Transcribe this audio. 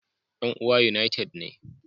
Yan uwa United ne